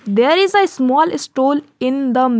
There is a small stool in the --